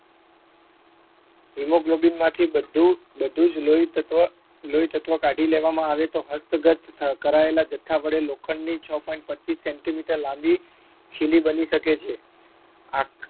hemoglobin માંથી બધું બધું જ લોહીતત્વ લોહીતત્વ કાઢી લેવામાં આવે તો હસ્તગત થ કરાયેલા જથ્થા વડે લોખંડની છ point પચીસ centimeter લાંબી ખીલી બની શકે છે આ